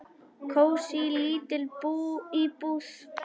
Kósí, lítil íbúð.